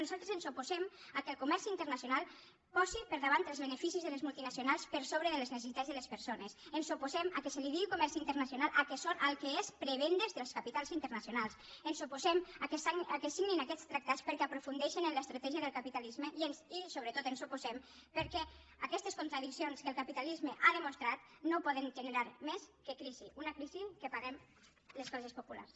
nosaltres ens oposem que el comerç internacional posi per davant els beneficis de les multinacionals per sobre de les necessitats de les persones ens oposem que es digui comerç internacional al que és prebendes dels capitals internacionals ens oposem que es signin aquests tractats perquè aprofundeixen en l’estratègia del capitalisme i sobretot ens hi oposem perquè aquestes contradiccions que el capitalisme ha demostrat no poden generar més que crisi una crisi que paguem les classes populars